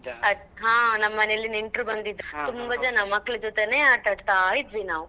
ಅದ್ ಹಾ ನಮ್ಮ ಮನೇಲಿ ನೆಂಟ್ರು ಬಂದಿದ್ರು ತುಂಬಾ ಜನ ಮಕ್ಳು ಜೊತೇನೆ ಆಟ ಆಡ್ತಾ ಇದ್ವಿ ನಾವು.